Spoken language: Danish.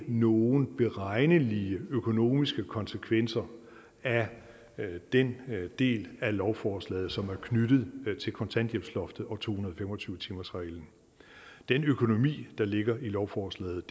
nogen beregnelige økonomiske konsekvenser af den del af lovforslaget som er knyttet til kontanthjælpsloftet og to hundrede og fem og tyve timersreglen den økonomi der ligger i lovforslaget